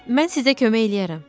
Mən sizə kömək eləyərəm.